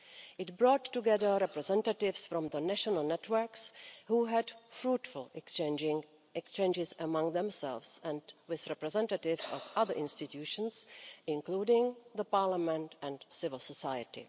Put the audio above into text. It brought together representatives from the national networks, who had fruitful exchanges among themselves and with representatives of other institutions, including Parliament and civil society.